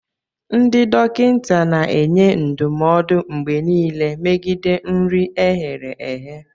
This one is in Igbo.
Ndị dọkịta na-enye ndụmọdụ mgbe niile megide nri e ghere eghe